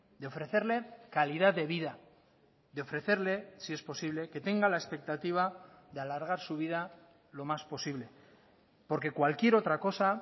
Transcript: de ofrecerle calidad de vida de ofrecerle si es posible que tenga la expectativa de alargar su vida lo más posible porque cualquier otra cosa